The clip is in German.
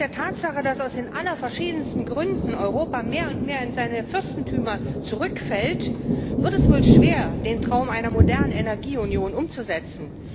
Angesichts der Tatsache, dass aus den allerverschiedensten Gründen Europa mehr und mehr in seine Fürstentümer zurückfällt, wird es wohl schwer, den Traum einer modernen Energieunion umzusetzen.